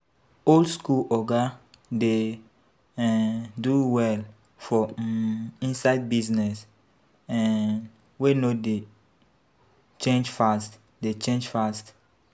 Old school oga dey um do well for um inside business um wey no dey change fast dey change fast